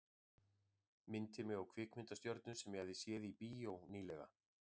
Minnti mig á kvikmyndastjörnu sem ég hafði séð í bíó ný- lega.